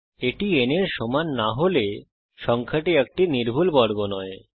এটি n এর সমান না হলে সংখ্যাটি একটি নির্ভুল বর্গ নয়